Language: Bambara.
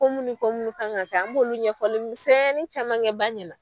Kɔmu ni ko munnu ka kan ka kɛ an b'olu ɲɛfɔli misɛnnin camankɛ ba ɲɛna.